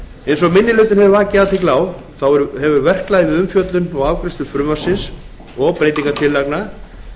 eins og minni hlutinn hefur vakið athygli á hefur verklagið við umfjöllun og afgreiðslu frumvarpsins og breytingartillagna